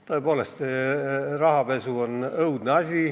Tõepoolest, rahapesu on õudne asi.